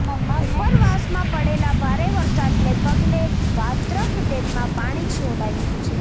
ઉપરવાસમાં પડેલા ભારે વરસાદને પગલે વાત્રક ડેમમાં પાણી છોડાયું છે